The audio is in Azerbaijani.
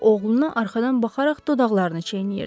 O oğluna arxadan baxaraq dodaqlarını çiynəyirdi.